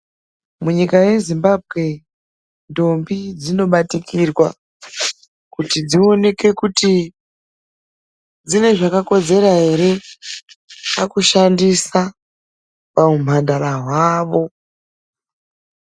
Munyika yezimbabwe ndombi dzinobatikirwa kuti dzionekwe kuti dzine zvakakodzera ere pakushandisa pauhamhandara hwavo.